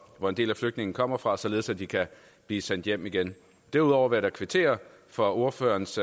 hvor en del af flygtningene kommer fra således at de kan blive sendt hjem igen derudover vil jeg da kvittere for ordførerens